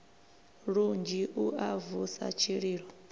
lunzhi u a vusa tshililo